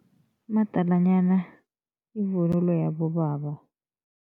Umadalanyana yivunulo yabobaba.